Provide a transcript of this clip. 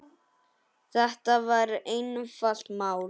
Þetta var einfalt mál.